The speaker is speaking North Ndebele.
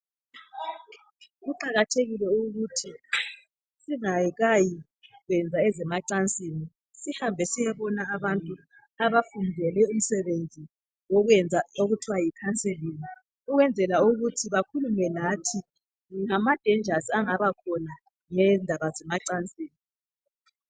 Kuqakathekile ukuthi singayi kwenza ezemacansini sihambe siyebona abantu abafundele umsebenzi okuthiwa yi counseling ukwenzela ukuthi bakhulume lathi ngobungozi obungaba khona ngendaba zemacansini.